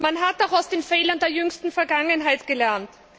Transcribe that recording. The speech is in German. Man hat auch aus den Fehlern der jüngsten Vergangenheit gelernt.